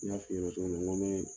N y'a f'i ɲɛna cogo min na, n ko n be